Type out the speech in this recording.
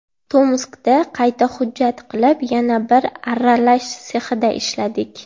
Tomskda qayta hujjat qilib, yana bir arralash sexida ishladik.